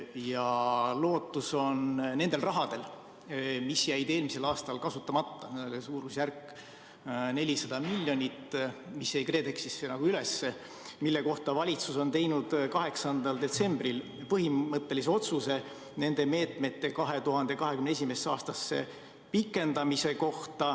Ja lootus on nendel rahadel, mis jäid eelmisel aastal kasutamata – suurusjärgus 400 miljonit –, mis jäi KredExis nagu üles ja mille kohta valitsus on teinud 8. detsembril põhimõttelise otsuse, et neid meetmeid pikendatakse 2021. aastasse.